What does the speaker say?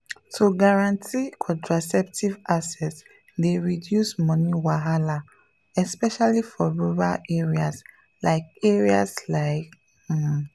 to guarantee contraceptive access dey reduce money wahala especially for rural areas like areas like um.